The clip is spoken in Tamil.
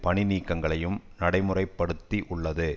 பணி நீக்கங்களையும் நடைமுறை படுத்தி உள்ளது